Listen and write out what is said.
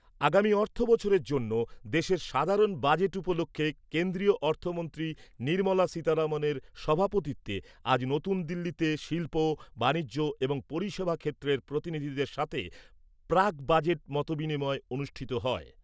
আগামী অর্থ বছরের জন্য দেশের সাধারণ বাজেট উপলক্ষে কেন্দ্রীয় অর্থমন্ত্রী নির্মলা সীতারমনের সভাপতিত্বে আজ নতুনদিল্লিতে শিল্প, বাণিজ্য এবং পরিষেবা ক্ষেত্রের প্রতিনিধিদের সাথে প্রাক বাজেট মতবিনিময় অনুষ্ঠিত হয়।